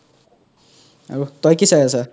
আৰু তই কি চাই আছা